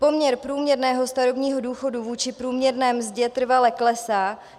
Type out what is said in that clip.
Poměr průměrného starobního důchodu vůči průměrné mzdě trvale klesá.